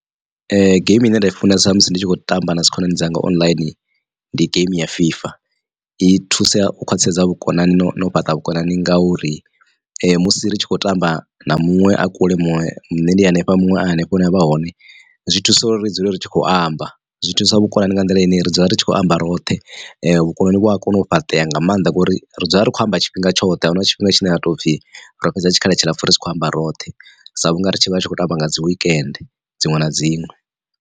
Geimi ine nda i funesa musi ndi tshi khou tamba na dzi khonani dzanga online ndi geimi ya fifa i thusa u khwaṱhisedza vhukonani na u fhaṱa vhukonani ngauri musi ri tshi khou tamba na muṅwe a kule muṅwe nne ndi hanefha muṅwe a hanefho hune avha a hone. Zwi thusa uri ri dzule ri tshi khou amba zwi thusa vhukonani nga nḓila ine ri dzula ri tshi khou amba roṱhe vhukonani vhu a kona u fhaṱea nga maanḓa ngori ri dzula rikho amba tshifhinga tshoṱhe ahuna tshifhinga tshine ha tou pfhi ro fhedza tshikhala tshilapfu ritshi kho amba roṱhe sa vhunga ri tshi vha ri tshi khou tamba nga dzi wekende dziṅwe na dziṅwe.